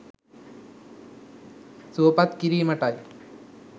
සුවපත් කිරීමටයි.